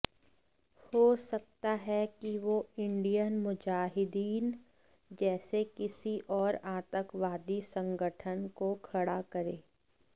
हो सकता है कि वो इंडियन मुजाहिदीन जैसे किसी और आतंकवादी संगठन को खड़ा करे